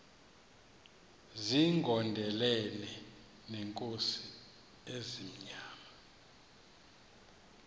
zigondelene neenkosi ezimnyama